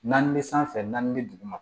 Naani bɛ sanfɛ naani bɛ duguma